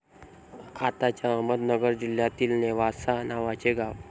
आताच्या अहमदनगर जिल्ह्यातील नेवासा नावाचे गाव.